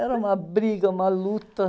Era uma briga, uma luta.